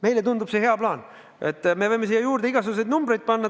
Meile tundub see hea plaan ja me võime siia juurde igasuguseid numbreid panna.